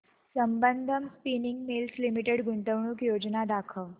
Sambandam spinning mills limited गुंतवणूक योजना दाखव